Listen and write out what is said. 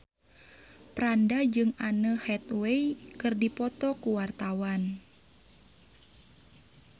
Franda jeung Anne Hathaway keur dipoto ku wartawan